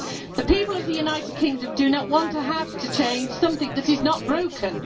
The people of the United Kingdom do not want to have to change something that is not broken.